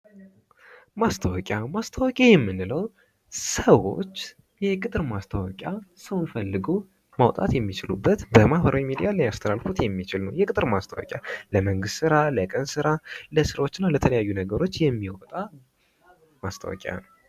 ማስታወቂያ ፦ ማስታወቂያ የምንለው ሰዎች የቅጥር ማስታወቂያ ሰው ፈልጎ ማውጣት የሚችሉበት በማህበራዊ ሚድያ ማስተላለፍ የሚችሉት የቅጥር ማስታወቂያ ለመንግስት ስራ ፣ ለቀን ስራ ፣ለስራዎች እና ለተለያዩ ነገሮች የሚወጣ ማስታወቂያ ነው ።